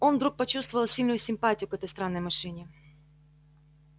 он вдруг почувствовал сильную симпатию к этой странной машине